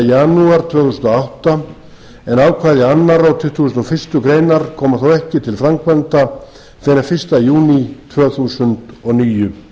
janúar tvö þúsund og átta en ákvæði annarrar og tuttugasta og fyrstu grein koma þó ekki til framkvæmda fyrr en fyrsta júní tvö þúsund og níu